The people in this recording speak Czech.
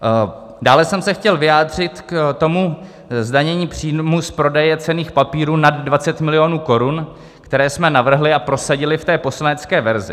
Dále jsem se chtěl vyjádřit k tomu zdanění příjmů z prodeje cenných papírů nad 20 miliónů korun, které jsme navrhli a prosadili v té poslanecké verzi.